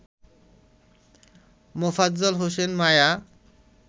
Mofazzal Hossain Maya